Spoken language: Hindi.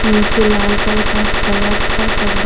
निचे लाल कलर का सड़क है |